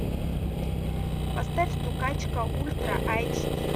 поставь стукачка ультра эйч ди